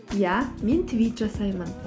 иә мен твит жасаймын